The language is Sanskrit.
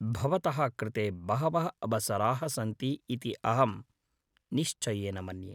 भवतः कृते बहवः अवसराः सन्ति इति अहं निश्चयेन मन्ये।